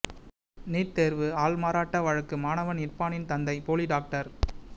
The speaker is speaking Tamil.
நீட் தேர்வு ஆள் மாறாட்ட வழக்கு மாணவன் இர்பானின் தந்தை போலி டாக்டர்